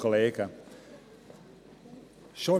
Grossrat Grimm, Sie haben das Wort.